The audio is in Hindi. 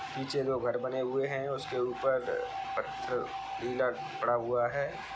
नीचे दो घर बने हुए हैं उसके ऊपर अ पत्थर नीला पड़ा हुआ है।